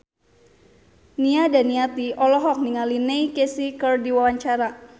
Nia Daniati olohok ningali Neil Casey keur diwawancara